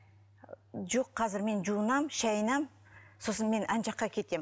жоқ қазір мен жуынамын шайынамын сосын мен ана жаққа кетем